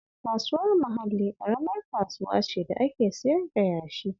Kasuwar Mahalli ƙaramar kasuwa ce da ake siyar da yashi